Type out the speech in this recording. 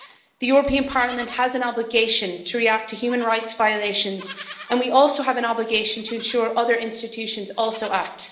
This Parliament has an obligation to react to human rights violations and we also have an obligation to ensure other institutions also act.